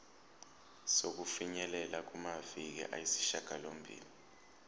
sokufinyelela kumaviki ayisishagalombili